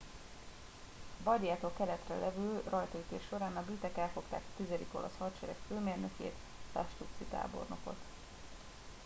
a bardiától keletre levő rajtaütés során a britek elfogták a tizedik olasz hadsereg főmérnökét lastucci tábornokot